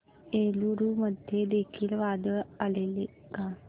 एलुरू मध्ये देखील वादळ आलेले का